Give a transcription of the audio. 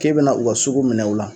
K'e bɛna u ka sugu minɛ u la